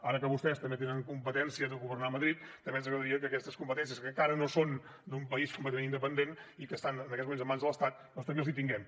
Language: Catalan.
ara que vostès també tenen competències en governar a madrid també ens agradaria que aquestes competències que encara no són d’un país completament independent i que estan en aquests moments en mans de l’estat doncs també les tinguem